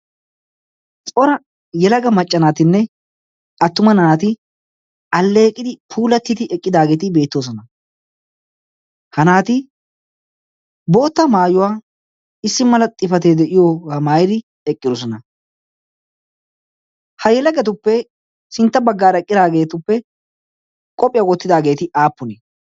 cora yelaga maccanaatinne attuma naati alleeqidi puulattidi eqqidaageeti beettoosona. ha naati bootta maayuwaa issi mala xifatee de7iyoogaa maayidi eqqidosona. ha yelagatuppe sintta baggaara eqqidaageetuppe qophphiyaa wottidaageeti aappune?